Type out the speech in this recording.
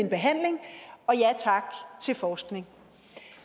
behandling og ja tak til forskning